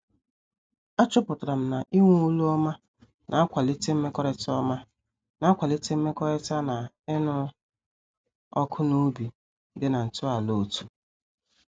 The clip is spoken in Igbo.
A chọpụtara m na-ịnwe olu ọma na-akwalite mmekọrịta ọma na-akwalite mmekọrịta na ịṅụ ọkụ na obi dị na ntọala otú.